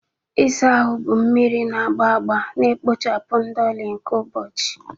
Ịsa ahụ bụ mmiri na agba agba na-ekpochapụ ndoli nke ụbọchị.